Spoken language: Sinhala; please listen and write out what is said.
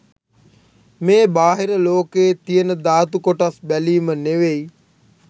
මේ බාහිර ලෝකයේ තියෙන ධාතු කොටස් බැලීම නෙවෙයි